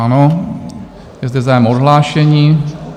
Ano, je zde zájem o odhlášení.